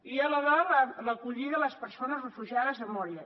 i a la de l’acollida de les persones refugiades a moria